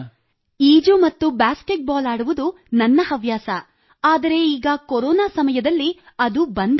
ಈಜು ಮತ್ತು basketball ಆಡುವುದು ನನ್ನ ಹವ್ಯಾಸ ಆದರೆ ಈಗ ಕೊರೊನಾ ಸಮಯದಲ್ಲಿ ಅದು ಬಂದ್ ಆಗಿದೆ